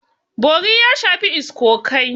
Bori ya shafi iskokai.